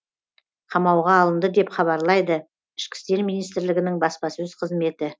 қамауға алынды деп хабарлайды ішкі істер министрлігінің баспасөз қызметі